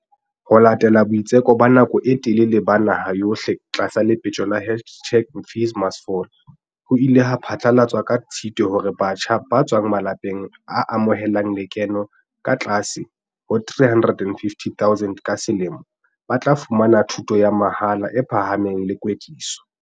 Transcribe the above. Ho latela boitseko ba nako e telele ba naha yohle tlasa le petjo la hashtag-FeesMustFall, ho ile ha phatlalatswa ka Tshitwe hore batjha ba tswang malapeng a amohelang lekeno le ka tlase ho R350 000 ka se lemo ba tla fumana thuto ya mahala e phahameng le kwetliso.